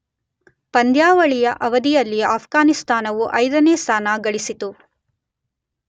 ಪಂದ್ಯಾವಳಿಯ ಅವಧಿಯಲ್ಲಿ ಆಫ್ಘಾನಿಸ್ತಾನವು 5ನೇ ಸ್ಥಾನ ಗಳಿಸಿತು